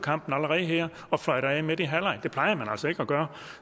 kampen allerede her og fløjter af midt i halvlegen det plejer man altså ikke at gøre